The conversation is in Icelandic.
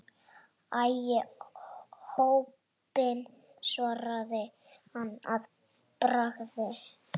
Æi, óheppin svaraði hann að bragði.